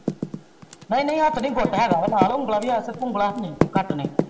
ਨਾਈ ਨਾਈ ਹਾਥ ਨੀ ਗੁੱਟ ਹੇਗਾ ਨਾਲ ਉਂਗਲਾ ਵੀ ਆ ਉਂਗਲਾ ਨੇ ਘੱਟ ਨੇ।